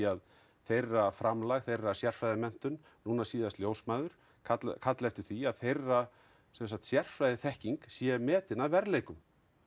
að þeirra framlag þeirra sérfræðimenntun núna síðast ljósmæður kalla kalla eftir því að þeirra sérfræðiþekking sé metin að verðleikum